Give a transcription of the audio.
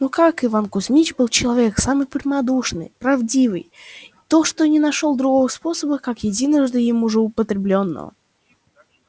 но как иван кузмич был человек самый прямодушный и правдивый то и не нашёл другого способа кроме как единожды уже им употреблённого